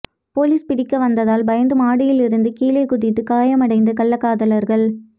police பிடிக்க வந்ததால் பயந்து மாடியிலிருந்து கீழே குதித்து காயமடைந்த கள்ளக்காதலர்கள்